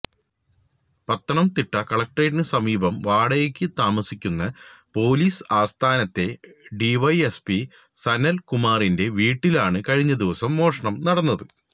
പത്തനംതിട്ട കളക്ടറേറ്റിന് സമീപം വാടകയ്ക്ക് താമസിക്കുന്ന പൊലീസ് ആസ്ഥാനത്തെ ഡിവൈഎസ്പി സനല് കുമാറിന്റെ വീട്ടിലാണ് കഴിഞ്ഞദിവസം മോഷണം നടന്നത്